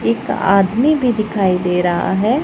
एक आदमी भी दिखाई दे रहा है।